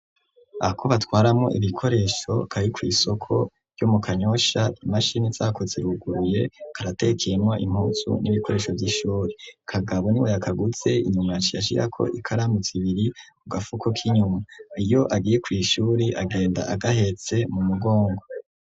Ako batwaramwo ibikoresho, kari kw'isoko ryo mu Kanyosha, imashini zako ziruguruye, karatekeyemwo impuzu n'ibikoresho vy'ishuri, kagabo niwe yakaguze, inyuma yaciye ashirako ikaramu zibiri ku gafuko k'inyuma, iyo agiye kw'ishuri agenda agahetse mu mugongo.